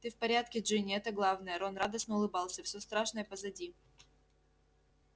ты в порядке джинни это главное рон радостно улыбался всё страшное позади